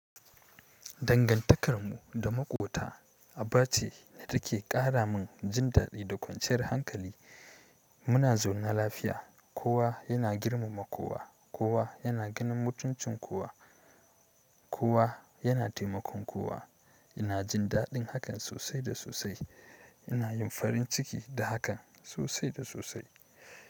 Dangantakarmu da maƙota aba ce da take ƙara min jin daɗi da kwanciyar hankali. Muna zaune lafiya, kowa yana girmama kowa, kowa yana ganin mutuncin kowa, kowa yana taimakon kowa. Ina jin daɗin hakan sosai da sosai. Ina yin farin ciki da hakan sosai da sosai.